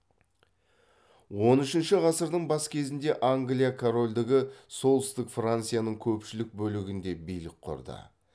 он үшінші ғасырдың бас кезінде англия корольдігі солтүстік францияның көпшілік бөлігінде билік құрды